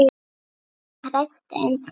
Ég var hrædd en sterk.